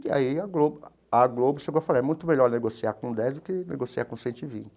E aí a Globo a Globo chegou a falar é muito melhor negociar com dez do que negociar com cento e vinte.